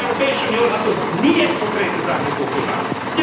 Die Europäische Union hat uns nie ein konkretes Angebot gemacht.